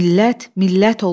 Millət millət olur.